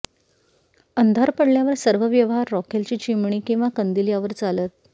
अंधार पडल्यावर सर्व व्यवहार रॉकेलची चिमणी किंवा कंदिल यावर चालत